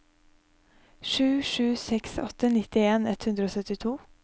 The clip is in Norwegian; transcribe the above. sju sju seks åtte nittien ett hundre og syttito